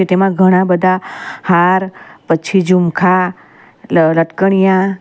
તેમા ઘણા બધા હાર પછી ઝુમખા લ_લટકનિયા --